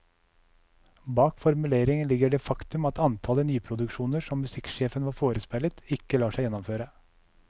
Bak formuleringen ligger det faktum at antallet nyproduksjoner som musikksjefen var forespeilet, ikke lar seg gjennomføre.